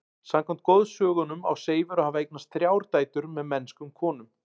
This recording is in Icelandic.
Samkvæmt goðsögunum á Seifur að hafa eignast þrjár dætur með mennskum konum.